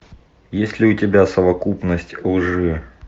есть ли у тебя совокупность лжи